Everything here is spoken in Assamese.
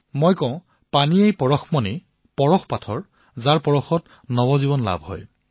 মই কও পানী হল পৰশমণি পানীৰ স্পৰ্শৰ দ্বাৰা নৱজীৱন প্ৰাপ্ত হয়